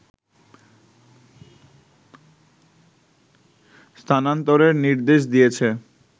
স্থানান্তরের নির্দেশ দিয়েছে